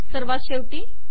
सर्वात शेवटी